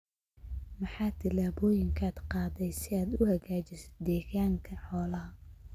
Maxaa tillaabooyinka aad qaaday si aad u hagaajisid deegaanka xoolaha?